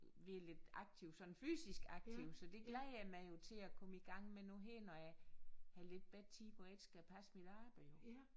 Være lidt aktiv sådan fysisk aktiv så det glæder jeg mig jo til at komme i gang med nu her når jeg har lidt bedre tid hvor jeg ikke skal passe mit arbejde jo